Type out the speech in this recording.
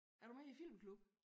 Er du med i æ filmklub?